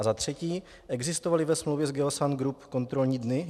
A za třetí: Existovaly ve smlouvě s Geosan Group kontrolní dny?